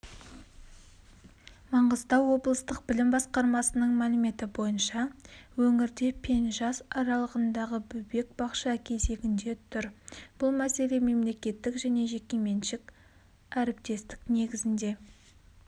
маңғыстау облыстық білім басқармасының мәліметі бойынша өңірде пен жас аралығындағы бөбек бақша кезегінде тұр бұл мәселе мемлекеттік және жекеменшік әріптестік негізінде